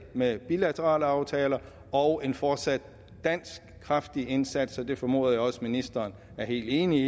med bilaterale aftaler og en fortsat kraftig dansk indsats og det formoder jeg også at ministeren er helt enig